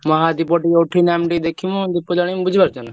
ମହାଦୀପ ଟିକେ ଉଠିନେ ଆମେ ଟିକେ ଦେଖିମୁ ଆଉ ଦୀପ ଜାଲିମୁ ବୁଝି ପାରୁଛ ନା।